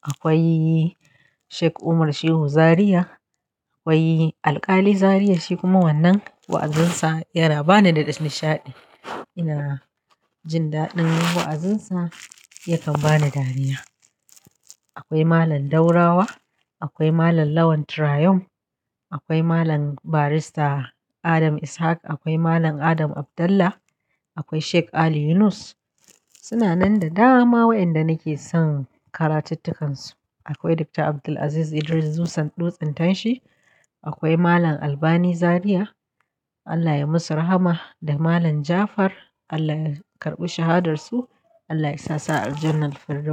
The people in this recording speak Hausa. akwai Sheik Umar Shehu Zariya, akwai Alkali Zariya. Shi kuma wannan wa'azinsa yana bani da nishaɗi. Ina jindaɗin wa'azinsa, yakan bani dariya. Akwai Malam Daurawa, akwai Malam Lawan Turayum, akwai Malam Barrister Adam Ishaq, akwai Malam Adam Abdallah, akwai Sheik Ali Yunus. Suna nan da dama wa'inda nake son karatuttukansu. Akwai Dr. Abdul'aziz Idris Dusan Dutsen tanshi, akwai Malam Albani Zariya, Allah ya yi musu rahama, da Malam Jafar, Allah ya karɓi shahadarsu, Allah ya sa sa'ar janar firdau.